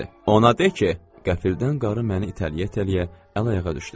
Ona de ki, qəfildən qarı məni itələyə-itələyə əl-ayağa düşdü.